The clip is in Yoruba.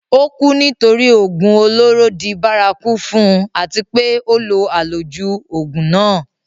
ó kú nítorí ògùn olóró di bárakú fún un àti pé ó lo àlòjù ògùn náà